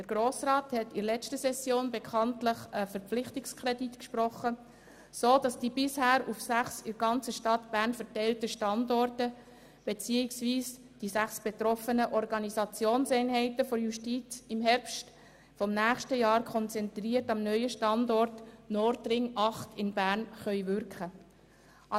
Der Grosse Rat hat in der letzten Session bekanntlich einen Verpflichtungskredit gesprochen, sodass die bisher auf sechs in der ganzen Stadt Bern verteilten Standorte beziehungsweise die sechs betroffenen Organisationseinheiten der Justiz, ab Herbst 2018 konzentriert am neuen Standort Nordring 8 in Bern wirken können.